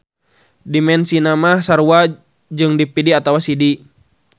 Dimensina mah sarua jeung DVD atawa CD.